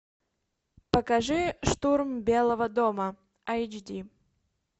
покажи штурм белого дома айч ди